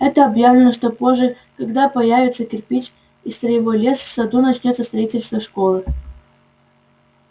было объявлено что позже когда появятся кирпич и строевой лес в саду начнётся строительство школы